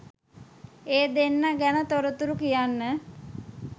ඒ දෙන්න ගැන තොරතුරු කියන්න